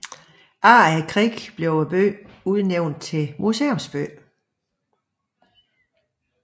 Efter krigen blev byen udnævnt til museumsby